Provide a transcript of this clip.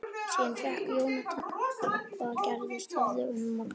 Síðan fékk Jón að heyra hvað gerst hafði um morguninn.